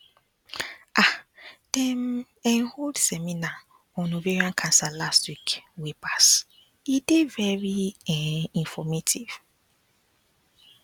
um dem um hold seminar on ovarian cancer last week wey pass e dey very um informative